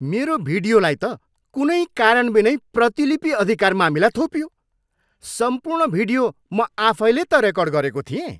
मेरो भिडियोलाई त कुनै कारणबिनै प्रतिलिपि अधिकार मामिला थोपियो। सम्पूर्ण भिडियो म आफैले त रेकर्ड गरेको थिएँ।